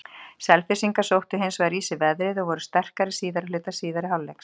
Selfyssingar sóttu hins vegar í sig veðrið og voru sterkari síðari hluta síðari hálfleiks.